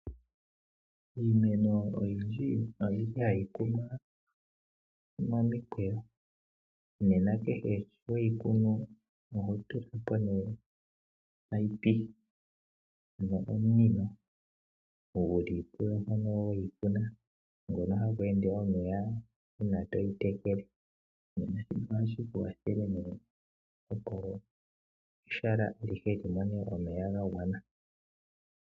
Iimeno oyindji ohayi kunwa momikweyo, nena uuna to yi kunu oho tula po omunino gu li puyo mpono we yi kuna ngoka hagu ende omeya uuna toyi tekele naashika ohashi ku kwathele nduno opo ehala alihe li mone omeya ga gwana.